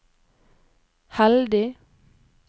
heldig